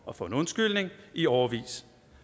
og for en undskyldning i årevis